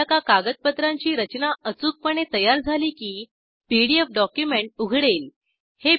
एकदा का कागदपत्रांची रचना अचूकपणे तयार झाली की पीडीएफ डॉक्युमेंट उघडेल